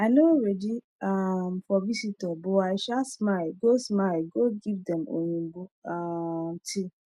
i nor readi um for visitor but i sha smile go smile go give them oyibo um tea